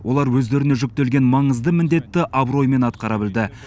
олар өздеріне жүктелген маңызды міндетті абыроймен атқара білді